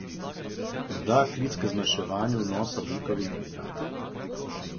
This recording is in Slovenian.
Morda klic k zmanjševanju vnosa ogljikovih hidratov?